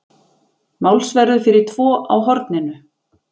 Málsverður fyrir tvo á Horninu.